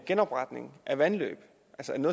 genopretning af vandløb